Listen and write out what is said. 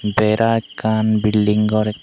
bera ekkan building gor ekk.